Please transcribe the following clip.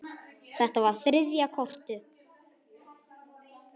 Þetta var þriðja kortið.